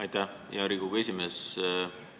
Aitäh, hea Riigikogu esimees!